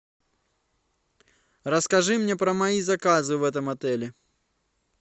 расскажи мне про мои заказы в этом отеле